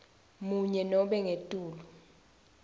munye nobe ngetulu